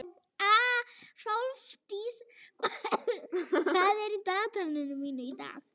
Hrólfdís, hvað er í dagatalinu mínu í dag?